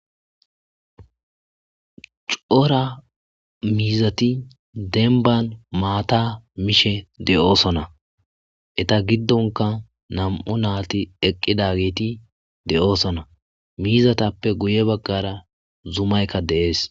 C'ora miziti demban mata mishe de'osona. Eta gidonka nam'u nayti eqidageti desona. Mizatappe guye bagara zumayka de'es.